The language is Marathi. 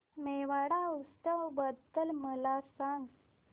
मेवाड उत्सव बद्दल मला सांग